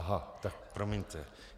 Aha, tak promiňte.